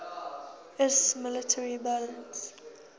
iiss military balance